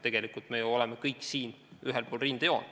Tegelikult me ju oleme kõik ühel pool rindejoont.